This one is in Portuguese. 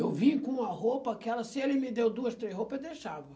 Eu vinha com uma roupa, que era se ele me deu duas, três roupas, eu deixava.